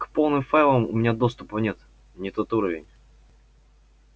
к полным файлам у меня доступа нет не тот уровень